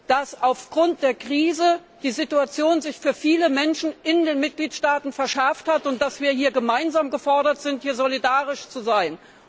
dass sich aufgrund der Krise die Situation für viele Menschen in den Mitgliedstaaten verschärft hat und dass wir gemeinsam gefordert sind, hier solidarisch zu sein.